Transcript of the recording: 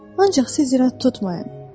Ancaq siz irad tutmayın.